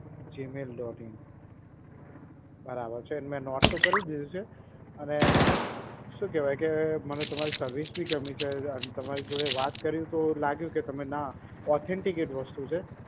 gmail dot in બરાબર છે, મે note તો કરી દીધું છે અને શું કહેવાય કે મને તમારી service બી ગમી છે અને તમારી જોડે વાત કરી તો લાગ્યું કે તમે ના, authenticate વસ્તુ છે.